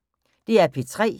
DR P3